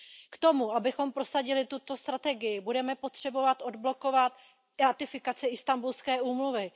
K tomu, abychom prosadili tuto strategii, budeme potřebovat odblokovat ratifikaci Istanbulské úmluvy.